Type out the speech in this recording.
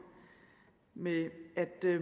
med at